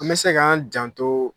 An bɛ se k'an janto